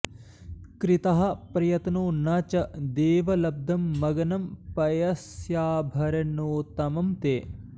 कृतः प्रयत्नो न च देव लब्धं मग्नं पयस्याभरणोत्तमं ते